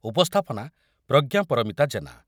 ଉପସ୍ଥାପନା ପ୍ରଜ୍ଞା ପରିମିତା ଜେନା